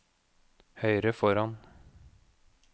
høyre foran